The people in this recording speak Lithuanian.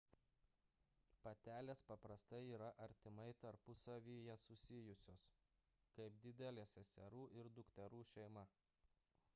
patelės paprastai yra artimai tarpusavyje susijusios – kaip didelė seserų ir dukterų šeima